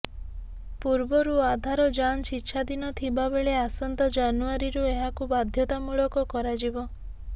ପୂର୍ବରୁ ଆଧାର ଯାଞ୍ଚ ଇଚ୍ଛାଧୀନ ଥିବାବେଳେ ଆସନ୍ତା ଜାନୁଆରିରୁ ଏହାକୁ ବାଧ୍ୟତାମୂଳକ କରାଯିବ